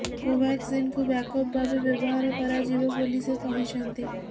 କୋଭାକ୍ସିନକୁ backup ଭାବେ ବ୍ୟବହାର କରାଯିବ ବୋଲି ସେ କହିଛନ୍ତି